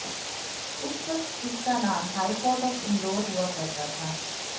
उस वक्त इसका नाम हाई कोर्ट ऑफ इंदौर हुआ करता था